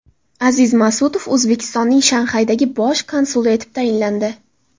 Aziz Masutov O‘zbekistonning Shanxaydagi bosh konsuli etib tayinlandi.